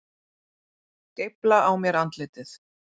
Geifla á mér andlitið.